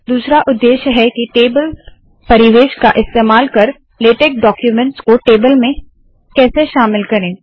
दूसरा उद्देश्य है के टेबल परिवेश का इस्तेमाल कर लेटेक डाक्यूमेंट्स को टेबल्स में कैसे शामिल करे